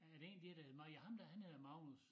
Er der en dér hed nå ja ham dér han hedder Magnus